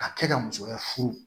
Ka kɛ ka musoya furu